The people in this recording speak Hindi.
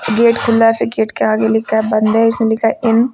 गेट खुला से गेट के आगे लिखा बंद है इसमे लिखा है इन ।